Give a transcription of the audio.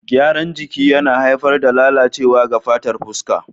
Gyaran jiki yana haifar da lalacewa ga fatar fuska.